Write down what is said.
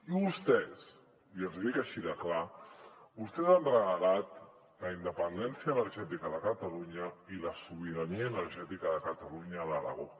i vostès i els hi dic així de clar han regalat la independència energètica de catalunya i la sobirania energètica de catalunya a l’aragó